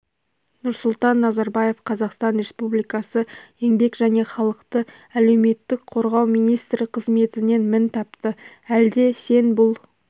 нұрсұлтан назарбаев қазақстан республикасы еңбек және халықты әлеуметтік қорғау министрі қызметінен мін тапты әлде сен бұл